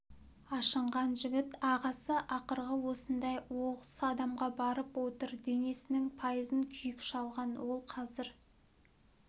ашынған жігіт ағасы ақырғы осындай оқыс қадамға барып отыр денесінің пайызын күйік шалған ол қазір